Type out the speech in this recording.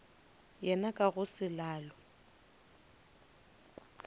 yena ka go se lalwe